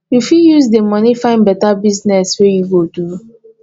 you fit use di moni find beta business wey you go do